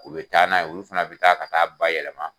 U bɛ taa n'a ye olu fana bɛ taa ka taa a bayɛlɛma